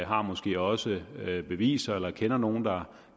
har måske også beviser eller kender nogen der